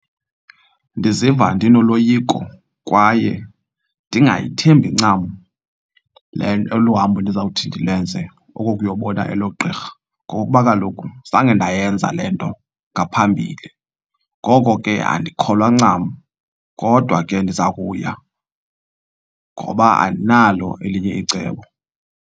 Ndiziva ndinoloyiko kwaye ndingayithembi ncam le nto olu hambo ndizawuthi ndilenze oko kuyobona elo gqirha ngokokuba kaloku zange ndayenza le nto ngaphambili. Ngoko ke andikholwa ncam kodwa ke ndiza kuya ngoba andinalo elinye icebo.